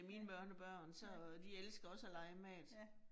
Ja. Ja. ja